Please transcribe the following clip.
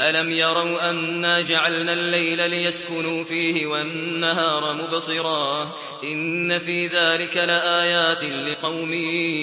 أَلَمْ يَرَوْا أَنَّا جَعَلْنَا اللَّيْلَ لِيَسْكُنُوا فِيهِ وَالنَّهَارَ مُبْصِرًا ۚ إِنَّ فِي ذَٰلِكَ لَآيَاتٍ لِّقَوْمٍ